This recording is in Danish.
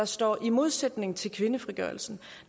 står i modsætning til kvindefrigørelsen